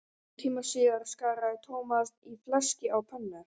Hálftíma síðar skaraði Thomas í fleski á pönnu.